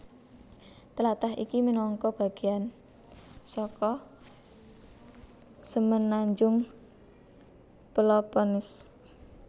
Tlatah iki minangka bagéan saka semenanjung Peloponnese